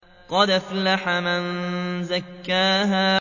قَدْ أَفْلَحَ مَن زَكَّاهَا